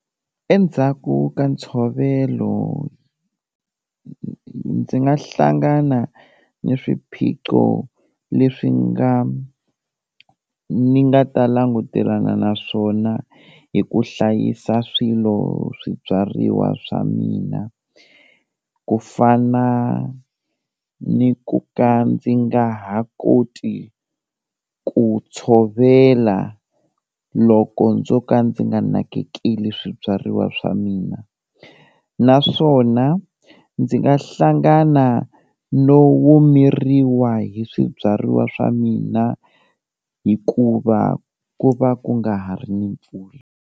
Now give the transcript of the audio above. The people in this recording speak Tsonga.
Endzhaku ka ntshovelo, ndzi nga hlangana ni swiphiqo leswi nga ni nga ta langutelana na swona hi ku hlayisa swilo swibyariwa swa mina ku fana ni ku ka ndzi nga ha koti ku tshovela loko ndzo ka ndzi nga nakekeli swibyariwa swa mina, naswona ndzi nga hlangana no omeriwa hi swibyariwa swa mina hikuva ku va ku nga ha ri ni pfula.